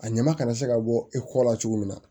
A ɲama kana se ka bɔ e kɔ la cogo min na